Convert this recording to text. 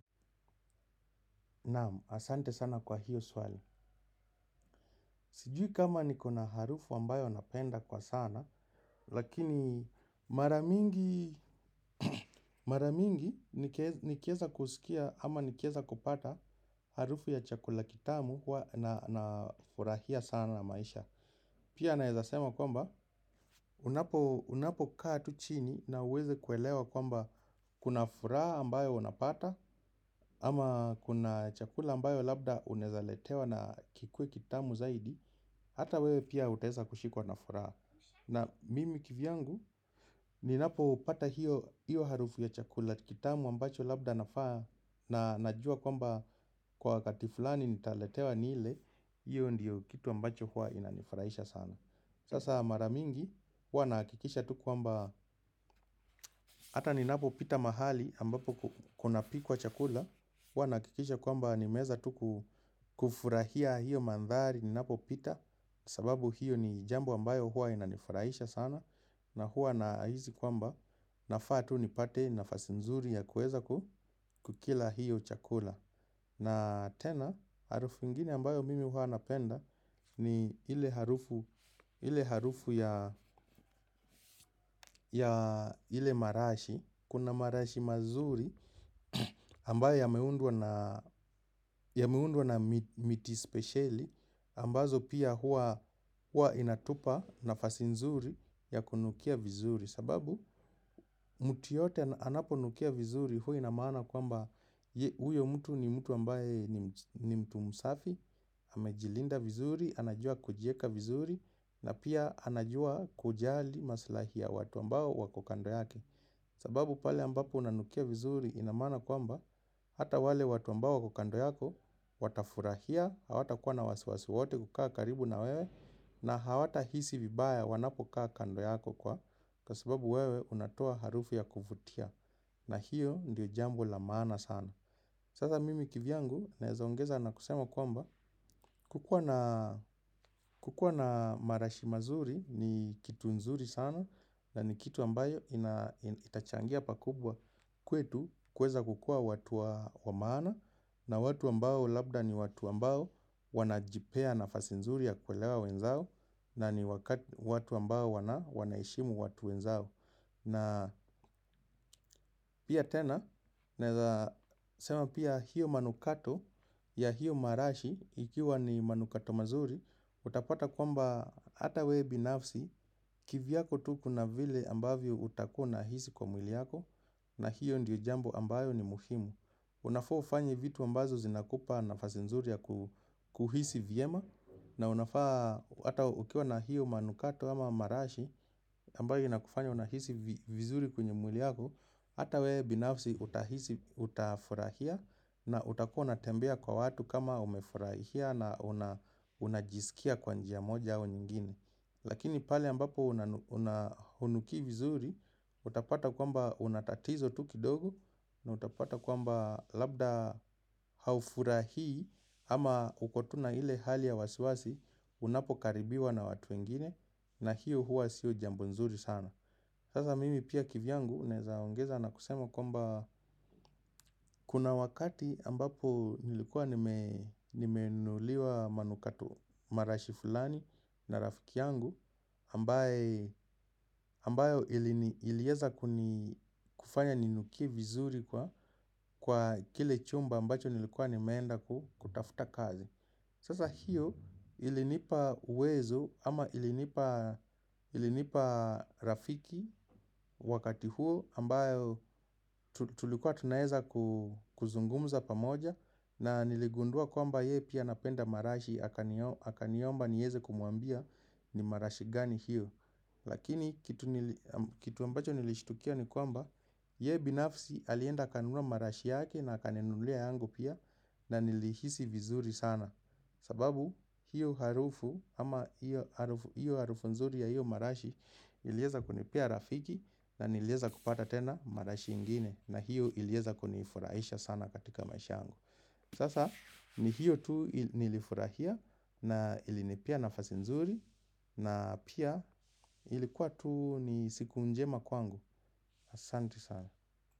Naam, asante sana kwa hiyo swali. Sijui kama nikona harufu ambayo napenda kwa sana, lakini mara mingi nikieza kusikia ama nikieza kupata harufu ya chakula kitamu nafurahia sana na maisha. Pia naeza sema kwamba unapokaa tu chini na uweze kuelewa kwamba kuna furaha ambayo unapata. Ama kuna chakula ambayo labda unaeza letewa na kikuwe kitamu zaidi. Hata wewe pia utaesa kushikwa na furaa. Na mimi kivyangu ninapoupata hiyo harufu ya chakula kitamu ambacho labda nafaa na najua kwamba kwa wakati fulani nitaletewa ni ile iyo ndiyo kitu ambacho huwa inanifraisha sana. Sasa mara mingi huwa nahakikisha tu kwamba ata ni napopita mahali ambapo kunapikwa chakula huwa nahakikisha kwamba nimeeza tu kufurahia hiyo manthari ninapopita. Sababu hiyo ni jambo ambayo huwa inanifurahisha sana. Na huwa nahisi kwamba nafaa tu nipate nafasi nzuri ya kuweza kukila hiyo chakula. Na tena, harufu ingine ambayo mimi huwa napenda ni ile harufu ya ile marashi, kuna marashi mazuri ambayo yameundwa na miti spesheli, ambazo pia huwa inatupa nafasi nzuri ya kunukia vizuri. Sababu mtu yoyote anaponukia vizuri huwa ina maana kwamba huyo mtu ni mtu ambaye ni mtu msafi, amejilinda vizuri, anajua kujieka vizuri na pia anajua kujali maslahi ya watu ambao wako kando yake. Sababu pale ambapo unanukia vizuri ina maana kwamba hata wale watu ambao wako kando yako watafurahia, hawatakuwa na wasiwasi wowote kukaa karibu na wewe na hawatahisi vibaya wanapokaa kando yako kwa. Kwa sababu wewe unatoa harufu ya kuvutia na hiyo ndiyo jambo la maana sana. Sasa mimi kivyangu naeza ongeza na kusema kwamba kukua na marashi mazuri ni kitu nzuri sana na ni kitu ambayo itachangia pakubwa kwetu kuweza kukua watu wa maana na watu ambao labda ni watu ambao wanajipea nafasi nzuri ya kuelewa wenzao na ni watu ambao wanaheshimu watu wenzao. Na pia tena, nesema pia hiyo manukato ya hiyo marashi ikiwa ni manukato mazuri, utapata kwamba ata wewe binafsi kivyako tu kuna vile ambavyo utakuwa unahisi kwa mwili yako na hiyo ndiyo jambo ambayo ni muhimu. Unafaa ufanye vitu ambazo zinakupa nafasi nzuri ya kuhisi vyema na unafaa hata ukiwa na hiyo manukato ama marashi ambayo inakufanya unahisi vizuri kwenye mwili yako. Hata wewe binafsi utahisi utafurahia na utakua unatembea kwa watu kama umefurahia na unajisikia kwa njia moja au nyingine lakink pale ambapo hunukii vizuri utapata kwamba una tatizo tu kidogo na utapata kwamba labda haufurahii ama uko tu na ile wasiwasi unapokaribiwa na watu wengine na hiyo huwa si jambo nzuri sana. Sasa mimi pia kivyangu naeza ongeza na kusema kwamba, kuna wakati ambapo nilikuwa nimenunuliwa manukato marashi fulani na rafiki yangu ambayo ilini ilieza kufanya ninukie vizuri kwa kile chumba ambacho nilikuwa nimeenda kutafuta kazi. Sasa hiyo ilinipa uwezo ama ilinipa rafiki wakati huo ambayo tulikuwa tunaeza kuzungumuza pamoja na niligundua kwamba ye pia anapenda marashi akaniomba nieze kumwambia ni marashi gani hiyo. Lakini kitu ambacho nilishtukia ni kwamba ye binafsi alienda akanunua marashi yake na akaninunulia yangu pia. Na nilihisi vizuri sana. Sababu hiyo harufu ama hiyo harufu nzuri ya hiyo marashi ilieza kunipea rafiki na nilieza kupata tena marashi ingine. Na hiyo ilieza kunifurahisha sana katika maisha yangu. Sasa ni hiyo tu nilifurahia na ilinipea nafasi nzuri. Na pia ilikuwa tu ni siku njema kwangu. Asanti sana.